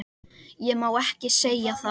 Ég má ekki segja það